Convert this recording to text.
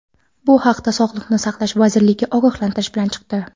Bu haqda Sog‘liqni saqlash vazirligi ogohlantirish bilan chiqdi.